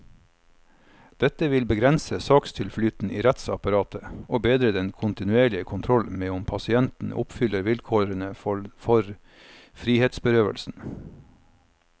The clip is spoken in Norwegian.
Dette vil begrense sakstilflyten i rettsapparatet, og bedre den kontinuerlige kontroll med om pasienten oppfyller vilkårene for frihetsberøvelsen.